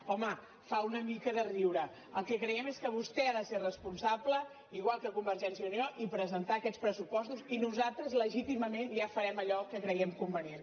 home fa una mica de riure el que creiem és que vostè ha de ser responsable igual que convergència i unió i presentar aquests pressu·postos i nosaltres legítimament ja farem allò que cre·guem convenient